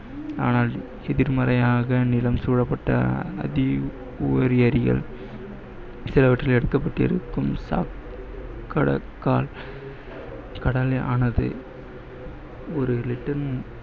அனால் எதிர்மறையாக நிலம் சூழப்பட்ட சிலவற்றில் எடுக்கப்பட்டிருக்கும் ஒரு liter